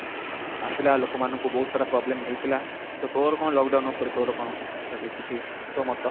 ଆସିଲା ଲୋକ ମାନଙ୍କୁ ବହୁତ ସାରା problem ହେଇଥିଲା, ତ ତୋର କଣ lockdown ଉପରେ ତୋର କଣ ଯଦି କିଛି ଅଛି ତୋ ମତ